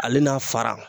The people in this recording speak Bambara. Ale n'a fara